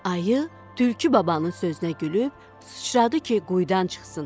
Ayı tülkü babanın sözünə gülüb sıçradı ki, quyudan çıxsın.